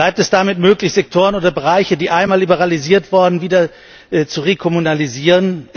Bleibt es damit möglich, Sektoren oder Bereiche, die einmal liberalisiert wurden, wieder zu rekommunalisieren?